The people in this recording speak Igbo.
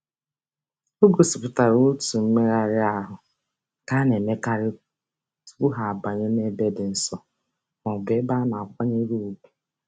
O gosipụtara otu mmegharị ahụ nke a na-emekarị tụpụ ha banye n'ebe dị nsọ mọọbụ ebe a na-akwanyere ùgwù.